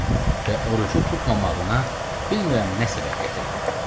Və orucu tutmamağına bilmirəm nə səbəb gətirdi.